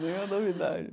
Não é novidade.